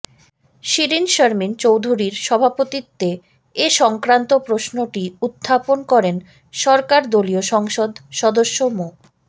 শিরীন শারমিন চৌধুরীর সভাপতিত্বে এ সংক্রান্ত প্রশ্নটি উত্থাপন করেন সরকার দলীয় সংসদ সদস্য মো